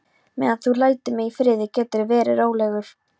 Meðan þú lætur mig í friði geturðu verið rólegur.